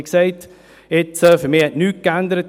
Wie gesagt: Für mich hat in Prêles nichts geändert.